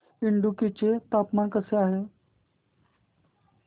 इडुक्की चे हवामान कसे आहे